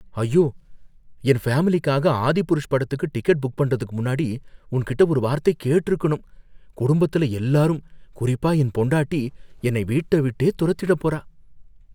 ஐயோ! என் ஃபேமிலிக்காக "ஆதிபுருஷ்" படத்துக்கு டிக்கெட் புக் பண்றதுக்கு முன்னாடி உன்கிட்ட ஒரு வார்த்தை கேட்டிருக்கணும். குடும்பத்துல எல்லாரும் குறிப்பா என் பொண்டாட்டி என்னை வீட்டை விட்டே துரத்திடப்போறா.